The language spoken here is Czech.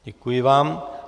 Děkuji vám.